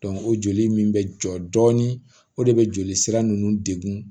o joli min bɛ jɔ dɔɔnin o de bɛ joli sira ninnu degun